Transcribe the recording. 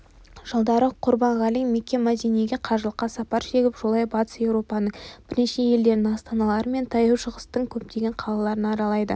жылдары құрбанғали мекке-мәдинеге қажылыққа сапар шегіп жолай батыс еуропаның бірнеше елдерінің астаналары мен таяу шығыстың көптеген қалаларын аралайды